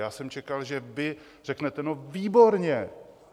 Já jsem čekal, že vy řeknete: No výborně!